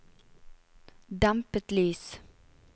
dempet lys